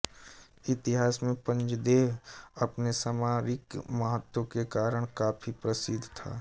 इतिहास में पंजदेह अपने सामरिक महत्त्व के कारण काफ़ी प्रसिद्ध था